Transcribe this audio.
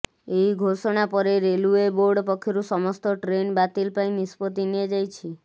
ଏହି ଘୋଷଣା ପରେ ରେଲୱେ ବୋର୍ଡ ପକ୍ଷରୁ ସମସ୍ତ ଟ୍ରେନ ବାତିଲ ପାଇଁ ନିଷ୍ପତ୍ତି ନିଆଯାଇଛି